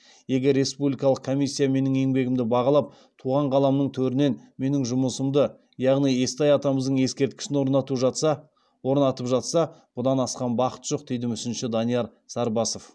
егер республикалық комиссия менің еңбегімді бағалап туған қаламның төрінен менің жұмысымды яғни естай атамыздың ескерткішін орнатып жатса бұдан асқан бақыт жоқ дейді мүсінші данияр сарбасов